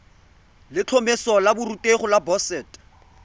letlhomeso la borutegi la boset